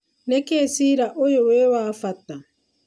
Nĩkĩ cira uyu wĩ wa bata?